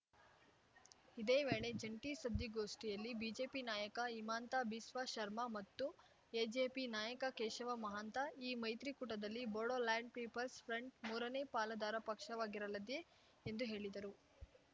ಇದೇ ವೇಳೆ ಜಂಟಿ ಸುದ್ಧಿಗೋಷ್ಠಿಯಲ್ಲಿ ಬಿಜೆಪಿ ನಾಯಕ ಇಮಾಂತ ಬಿಸ್ವಾಶರ್ಮಾ ಮತ್ತು ಎಜಿಪಿ ನಾಯಕ ಕೇಶವ ಮಹಾಂತ ಈ ಮೈತ್ರಿ ಕೂಟದಲ್ಲಿ ಬೋಡೊಲ್ಯಾಂಡ್ ಪೀಪಲ್ಸ್ ಫ್ರಂಟ್ ಮೂರನೇ ಪಾಲುದಾರ ಪಕ್ಷವಾಗಿರಲದೆ ಎಂದು ಹೇಳಿದರು